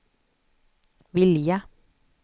vilja